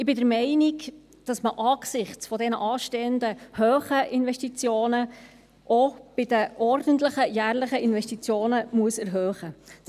Ich bin der Meinung, dass man angesichts der anstehenden hohen Investitionen, auch bei den ordentlichen, jährlichen Investitionen erhöhen muss.